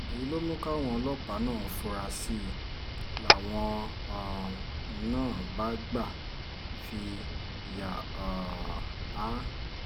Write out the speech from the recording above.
èyí ló mú káwọn ọlọ́pàá náà fura sí i làwọn um náà bá gbà fi yà um á